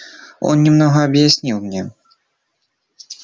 он немного объяснил мне